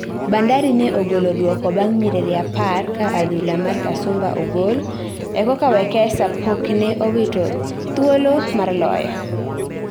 Bandari ne ogolo duoko bang nyiriri apar kaa adhula mar Kasumba ogol okoka Wekesa pokne owito dhuolo mar loyo